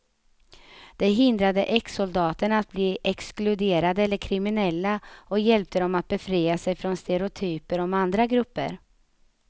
Det hindrade exsoldaterna att bli exkluderade eller kriminella och hjälpte dem att befria sig från stereotyper om andra grupper.